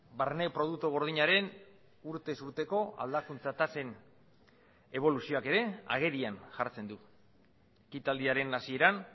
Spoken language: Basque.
barne produktu gordinaren urtez urteko aldakuntza tasen eboluzioak ere agerian jartzen du ekitaldiaren hasieran